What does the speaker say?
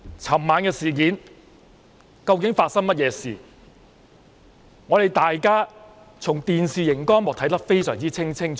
昨晚發生甚麼事，大家從電視熒幕看得非常清楚。